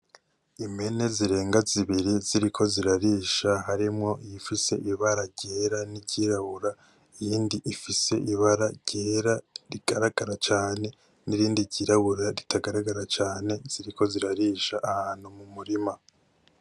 Impene zirenga zibiri ziriko zirarisha harimwo iyifise ibara ryera n'iryirabura, iyindi ifise ibara ryera rigaragara cane n'irindi ryirabura ritagaragara cane, ziriko zirarisha ahantu mu murima.